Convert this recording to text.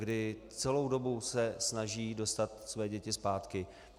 Kdy celou dobu se snaží dostat své děti zpátky.